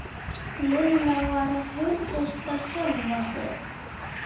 Lilla var að hughreysta sjálfa sig.